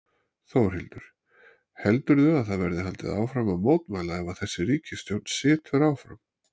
Þórhildur: Heldurðu að það verði haldið áfram að mótmæla ef að þessi ríkisstjórn situr áfram?